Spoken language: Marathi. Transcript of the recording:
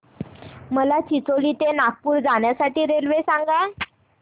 मला चिचोली ते नागपूर जाण्या साठी रेल्वे सांगा